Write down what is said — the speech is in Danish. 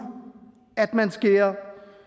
at man skærer